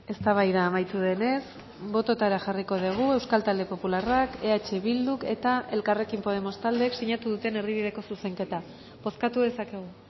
eztabaida amaitu denez bototara jarriko dugu euskal talde popularrak eh bilduk eta elkarrekin podemos taldeek sinatu duten erdibideko zuzenketa bozkatu dezakegu